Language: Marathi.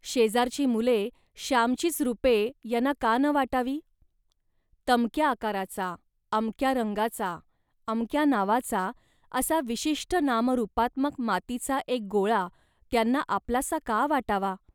शेजारची मुले श्यामचीच रूपे यांना का न वाटावी. तमक्या आकाराचा, अमक्या रंगाचा, अमक्या नावाचा, असा विशिष्ट नामरूपात्मक मातीचा एक गोळा त्यांना आपलासा का वाटावा